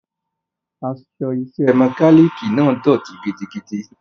Aṣọ iṣẹ́ mọkálíìkì náà dọ̀tí gidigidi.